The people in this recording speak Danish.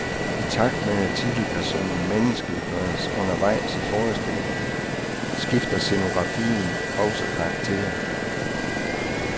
I takt med, at titelpersonen menneskeliggøres undervejs i forestillingen, skifter scenografien også karakter.